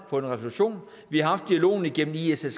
på en resolution vi har haft dialogen igennem issg